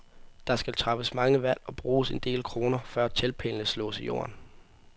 Der skal træffes mange valg og bruges en del kroner, før teltpælene slås i jorden.